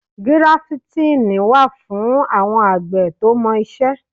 Gíráfítìn wà fún àwọn àgbẹ̀ tó mọ iṣẹ́.